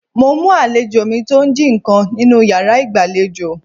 Mo mú àlejò mi tó ń jí ǹkan nínú yàrá ìgbàlejò.